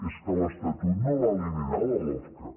és que l’estatut no va eliminar la lofca